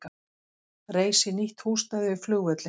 Reisi nýtt húsnæði við flugvöllinn